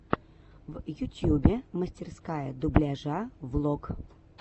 в ютьюбе мастерская дубляжа влог